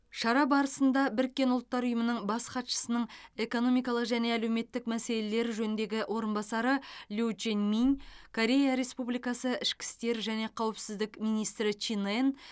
шара барысында біріккен ұлттар ұйымының бас хатшысының экономикалық және әлеуметтік мәселелер жөніндегі орынбасары лю чжэньминь корея республикасы ішкі істер және қауіпсіздік министрі чин ен